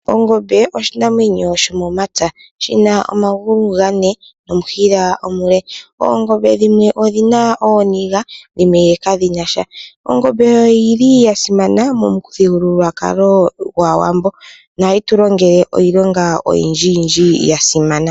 Ongombe oshinamwenyo shomomapya shina omagulu gane nomushila omule, oongombe dhimwe odhina ooniga dhimwe kadhina sha. Ongombe oyili ya simana momuthigululwakalo gwaawambo nohayi tu longele iilonga oyindji ya simana.